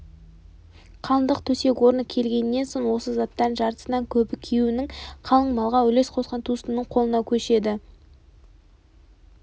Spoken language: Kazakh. қалыңдық төсек орны келгеннен соң осы заттардың жартысынан көбі күйеуінің қалың малға үлес қосқан туыстарының қолына көшеді